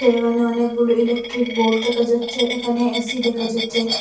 এখানে অনেকগুলো electric board দেখা যাচ্ছে এখানে এ_সি দেখা যাচ্ছে।